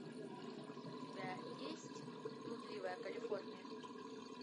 у тебя есть блудливая калифорния